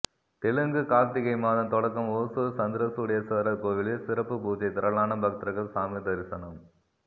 தெலுங்கு கார்த்திகை மாதம் தொடக்கம் ஓசூர் சந்திரசூடேஸ்வரர் கோவிலில் சிறப்பு பூஜை திரளான பக்தர்கள் சாமி தரிசனம்